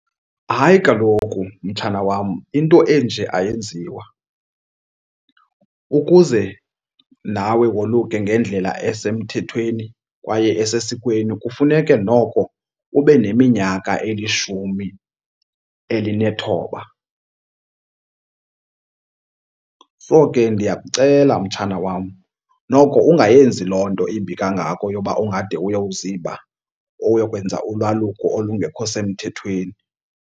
Hayi kaloku, mtshana wam, into enje ayenziwa. Ukuze nawe woluke ngendlela esemthethweni kwaye esesikweni kufuneke noko ube neminyaka elishumi elinethoba. So ke ndiyakucela mtshana wam noko ungayenzi loo nto imbi kangako yoba ungade uyawuziba uyokwenza ulwaluko olungekho semthethweni.